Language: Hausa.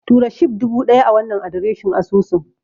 Tura Shib dubu ɗaya a wannan adireshin asusun.